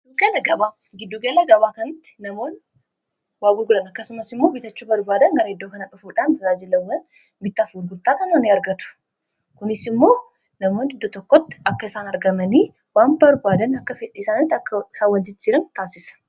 Gidduu gala gabaa:-Giddu gala gabaa kanatti namoonni waagurguran akkasumas immoo bitachuu barbaadan gara iddoo kanaa dhufuudhaan tajaajilaawwan itti gurgurtaa kana argatu. Kunis immoo namoonni iddoo tokkotti akka isaan argamanii waan barbaadan akka fedhii isaaniitti akka waljijjiiran taasisa.